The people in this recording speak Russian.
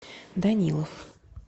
данилов